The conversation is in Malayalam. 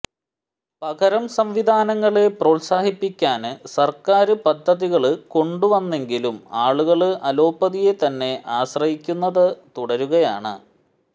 പകരം സംവിധാനങ്ങളെ പ്രോത്സാഹിപ്പിക്കാന് സര്ക്കാര് പദ്ധതികള് കൊണ്ടു വന്നെങ്കിലും ആളുകള് അലോപ്പതിയെ തന്നെ ആശ്രയിക്കുന്നത് തുടരുകയാണ്